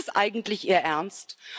Ist das eigentlich Ihr Ernst?